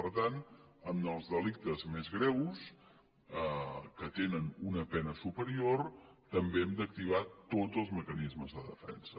per tant en els delictes més greus que tenen una pena superior també hem d’activar tots els mecanismes de defensa